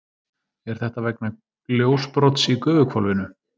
Er þetta vegna ljósbrots í gufuhvolfinu?